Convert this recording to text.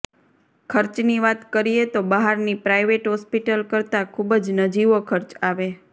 ખર્ચની વાત કરીએ તો બહારની પ્રાઇવેટ હોસ્પિટલ કરતાં ખૂબ જ નજીવો ખર્ચ આવે